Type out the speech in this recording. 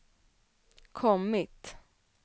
kommit